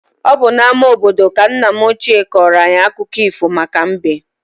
Ọ bụ n'ama obodo ka nna m ochie kọọrọ anyị akụkọ ifo maka mbe.